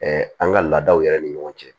an ka laadaw yɛrɛ ni ɲɔgɔn cɛ